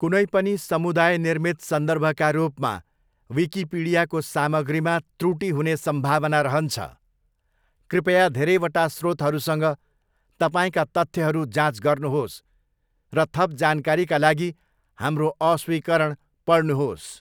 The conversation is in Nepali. कुनै पनि समुदाय निर्मित सन्दर्भका रूपमा, विकिपिडियाको सामग्रीमा त्रुटी हुने सम्भावना रहन्छ, कृपया धेरैवटा स्रोतहरूसँग तपाईँका तथ्यहरू जाँच गर्नुहोस् र थप जानकारीका लागि हाम्रो अस्वीकरण पढ्नुहोस्।